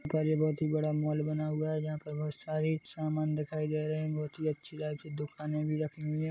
--पर ये बहुत ही बड़ा मॉल बना हुआ है जहाँ पर बोहत सारी सामान दिखाई दे रहे बहुत ही अच्छी की दुकाने भी रखी हुई है।